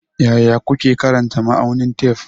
Yaya kuke karanta ma'aunin tef?